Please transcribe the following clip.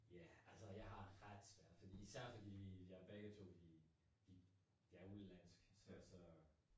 Ja, altså jeg har ret svært fordi især fordi vi ja begge to vi vi er udenlandsk så så